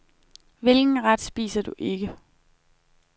Hvilken ret spiser du ikke?